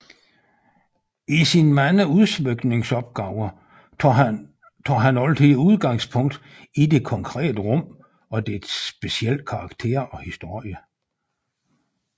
I sine mange udsmykningsopgaver tager han altid udgangspunkt i det konkrete rum og dets specielle karakter og historie